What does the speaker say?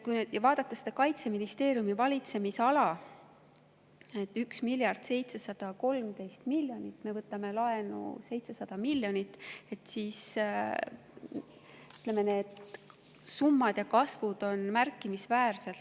Kui vaadata Kaitseministeeriumi valitsemisala – 1 miljard 713 miljonit, me võtame laenu 700 miljonit –, siis need summad ja kasvud on märkimisväärsed.